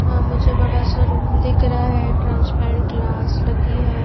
या मुझे बड़ा सा रूम दिख रहा है ट्रांसपेरेंट क्लास लगी है।